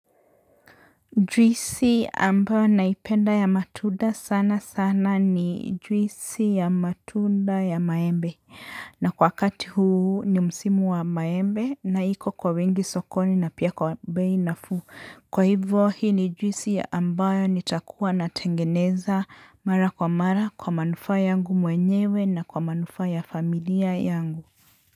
Juisi ambayo naipenda ya matunda sana sana ni juisi ya matunda ya maembe na kwa wakati huu ni msimu wa maembe na iko kwa wingi sokoni na pia kwa beinafuu. Kwa hivyo hii ni juisi ambayo nitakuwa natengeneza mara kwa mara kwa manufaa yangu mwenyewe na kwa manufaa ya familia yangu.